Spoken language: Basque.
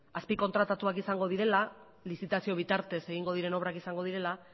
azpikontratatuak izango direla lizitazio bitartez egingo diren obrak izango direla